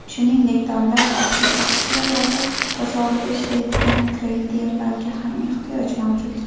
Shuningdek, davlat obligatsiyalari bozorida ishlaydigan treyderlarga ham ehtiyoj mavjud.